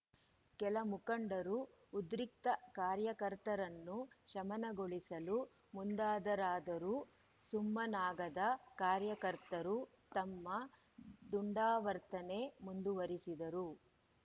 ಕೆಲ ಮುಖಂಡರು ಉದ್ರಿಕ್ತ ಕಾರ್ಯಕರ್ತರನ್ನು ಶಮನಗೊಳಿಸಲು ಮುಂದಾದರಾದರೂ ಸುಮ್ಮನಾಗದ ಕಾರ್ಯಕರ್ತರು ತಮ್ಮ ದುಂಡಾವರ್ತನೆ ಮುಂದುವರಿಸಿದರು